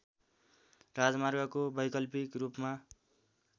राजमार्गको वैकल्पिक रूपमा